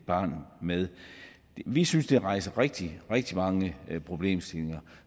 barn med vi synes det rejser rigtig rigtig mange problemstillinger